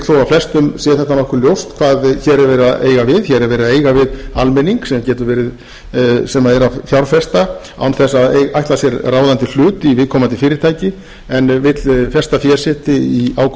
flestum sé þetta nokkuð ljóst hvað hér er verið að eiga við hér er verið að eiga við almenning sem er að fjárfesta án þess að ætla sér ráðandi hlut í viðkomandi fyrirtæki en vill festa fé sitt í ágóðaskyni í einstökum